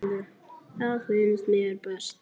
Það finnst mér best.